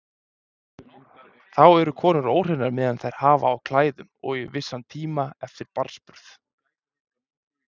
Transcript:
Þá eru konur óhreinar meðan þær hafa á klæðum og í vissan tíma eftir barnsburð.